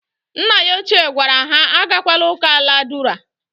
Nna ya ochie gwara ha agakwala uka aladura.